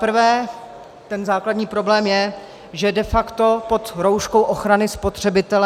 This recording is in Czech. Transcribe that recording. Zaprvé ten základní problém je, že de facto pod rouškou ochrany spotřebitele...